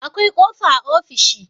akwai kofa a ofishi